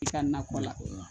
I ka nakɔ la